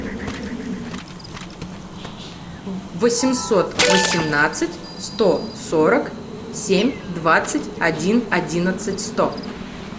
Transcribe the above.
восемьсот восемнадцать сто сорок семь двадцать один одиннадцать сто